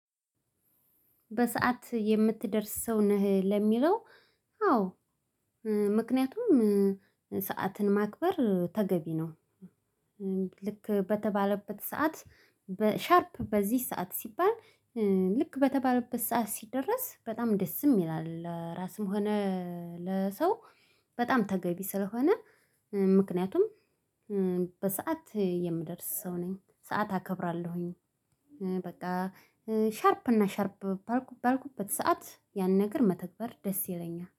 በሰአት የምትደርስ ሰው ነህ ለሚለው? አዎ። ምክንያቱም ሰዓትን ማክበር ተገቢ ነው። ልክ በተባለበት ሰዓት። በ ሻርፕ በዚህ ሰዓት ሲባል። ልክ በተባለበት ሰዓት ሲደርስ በጣም ደስም ይላል ለራስም ሆነ። ለሰው። በጣም ተገቢ ስለሆነ። ምክንያቱም በሰአት የምደርስ ሰው ነኝ ሰዓት አከብራለሁኝ። በቃ። ሻርፕ እና ሻርፕ ባልኩበት ሰዓት ያን ነገር መተግበር ደስ ይለኛል